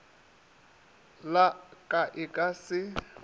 la ka e ka se